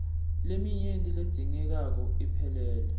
leminyenti ledzingekako iphelele